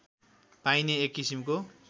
पाइने एक किसिमको